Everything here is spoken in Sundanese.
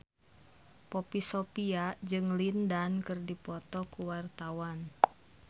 Poppy Sovia jeung Lin Dan keur dipoto ku wartawan